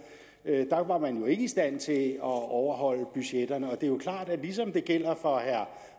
der var man ikke i stand til at overholde budgetterne og det er jo klart at ligesom det gælder for herre